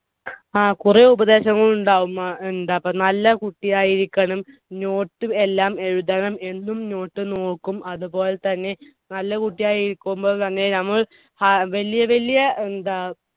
ങ്ഹാ. കുറെ ഉപദേശങ്ങൾ ഉണ്ടാകും. എന്താ നല്ല കുട്ടിയായി ഇരിക്കണം. note എല്ലാം എഴുതണം. എന്നും note നോക്കും. അത് പോലെ തന്നെ നല്ല കുട്ടിയായി ഇരിക്കുമ്പോൾ തന്നെ നമ്മൾ വലിയ വലിയ എന്താ